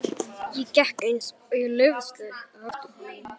Ég gekk eins og í leiðslu á eftir honum.